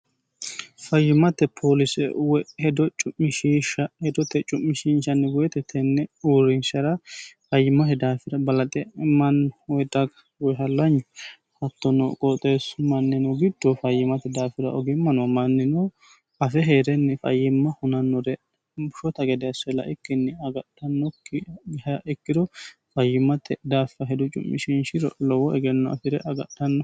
fayyimate poolise woy hedo cu'mishihsha hedote cu'mishiinshanni woyite tenne uurrinshara fayyimmate daafira balaxe mannu daga woy hallanyu hattono qooxeessu mannino giddo fayyimate daafira ogimmano mannino afe hee'renni fayyimma hunannore bushota gede asse la'ikkinni agadhannokki ikkiro fayyimmate daaffo hedo cu'mishinshiro lowo egenno afi're agadhannon